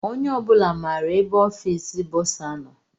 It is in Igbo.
Onye obula maara ebe ọfiisi bọsa nọ.